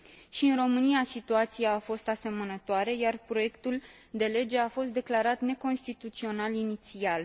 Și în România situația a fost asemănătoare, iar proiectul de lege a fost declarat neconstituțional inițial.